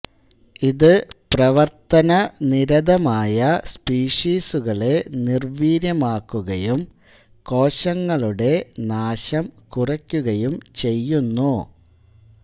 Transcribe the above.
ഇത് പ്രവർത്തനനിരതമായ സ്പീഷീസുകളെ നിർവീര്യമാക്കുകയും കോശങ്ങളുടെ നാശം കുറയ്ക്കുകയും ചെയ്യുന്നു